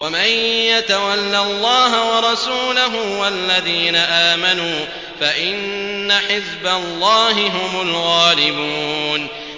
وَمَن يَتَوَلَّ اللَّهَ وَرَسُولَهُ وَالَّذِينَ آمَنُوا فَإِنَّ حِزْبَ اللَّهِ هُمُ الْغَالِبُونَ